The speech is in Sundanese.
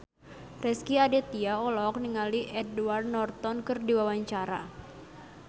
Rezky Aditya olohok ningali Edward Norton keur diwawancara